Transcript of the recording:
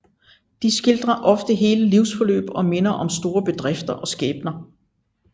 De skildrer ofte hele livsforløb og minder om store bedrifter og skæbner